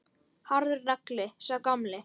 Harður nagli, sá gamli.